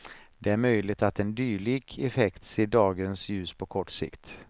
Det är möjligt att en dylik effekt ser dagens ljus på kort sikt.